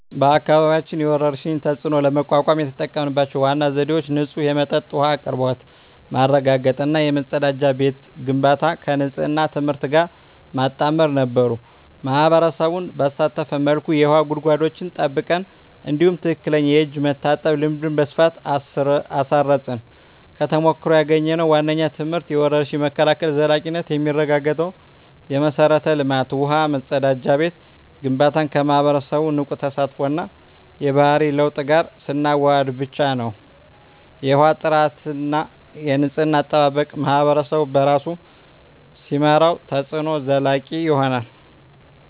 በአካባቢያችን የወረርሽኝን ተፅዕኖ ለመቋቋም የተጠቀምንባቸው ዋና ዘዴዎች ንጹህ የመጠጥ ውሃ አቅርቦት ማረጋገጥ እና የመጸዳጃ ቤት ግንባታን ከንፅህና ትምህርት ጋር ማጣመር ነበሩ። ማኅበረሰቡን ባሳተፈ መልኩ የውሃ ጉድጓዶችን ጠብቀን፣ እንዲሁም ትክክለኛ የእጅ መታጠብ ልምድን በስፋት አስረፅን። ከተሞክሮ ያገኘነው ዋነኛው ትምህርት የወረርሽኝ መከላከል ዘላቂነት የሚረጋገጠው የመሠረተ ልማት (ውሃ፣ መጸዳጃ ቤት) ግንባታን ከማኅበረሰቡ ንቁ ተሳትፎ እና የባህሪ ለውጥ ጋር ስናዋህድ ብቻ ነው። የውሃ ጥራትና የንፅህና አጠባበቅን ማኅበረሰቡ በራሱ ሲመራው፣ ተፅዕኖው ዘላቂ ይሆናል።